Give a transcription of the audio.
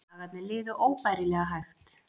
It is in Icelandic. Dagarnir liðu óbærilega hægt.